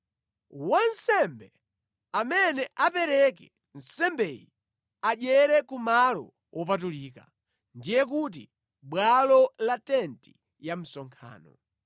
Wansembe amene apereke nsembeyi adyere ku malo wopatulika ndiye kuti mʼbwalo la tenti ya msonkhano.